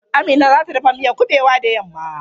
Amina za ta dafa miyan kuɓewa da yamma.